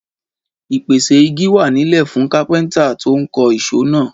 Ìpèsè igi wá nílẹ̀ fún kápẹ́ńtà tó ń kọ́ isọ̀ náà.